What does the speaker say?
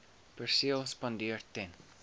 perseel spandeer ten